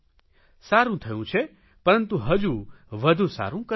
સારૂં થયું છે પરંતુ હજુ વધુ સારૂં કરવું છે